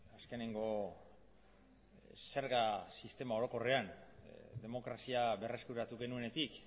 azkeneko zerga sistema orokorrean demokrazia berreskuratu genuenetik